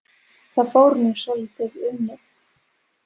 Það fór nú svolítið um mig.